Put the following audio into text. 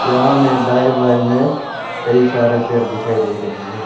यहां में दाएं बाएं में कई सारे पेड़ दिखाई दे रहे हैं।